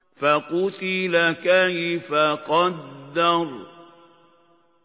فَقُتِلَ كَيْفَ قَدَّرَ